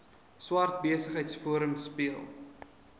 swart besigheidsforum speel